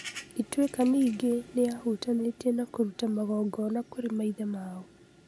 Ituĩka ningĩ nĩ yahutanĩtie na kũruta magongona kũrĩ maithe mao.